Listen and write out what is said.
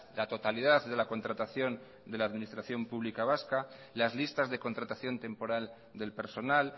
la totalidad de la contratación de la administración pública vasca las listas de contratación temporal del personal